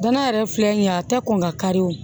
Danaya yɛrɛ filɛ nin ye a tɛ kɔn ka kari o